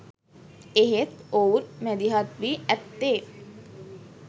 එහෙත් ඔවුන් මැදිහත් වී ඇත්තේ